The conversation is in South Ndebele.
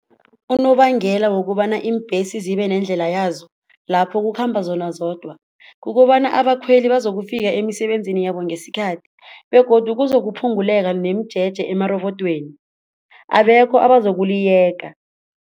Unobangela wokobana iimbesi zibe nendlela yazo lapho kukhamba zona zodwa, kukobana abakhweli bazo ukufika emisebenzini yabo ngesikhathi begodu kuze ukuphunguleka nomjeje emarobodweni abekho angazokuliyeka.